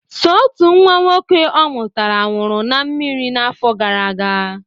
Sọ otu nwa nwoke ọ mụtara nwụrụ na mmiri n'afọ gara aga.